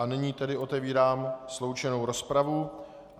A nyní tedy otevírám sloučenou rozpravu.